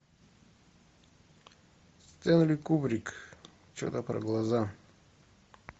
стэнли кубрик что то про глаза